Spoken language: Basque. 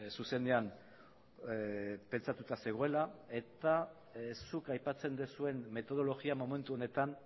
zuzenean pentsatuta zegoela eta zuk aipatzen duzuen metodologia momentu honetan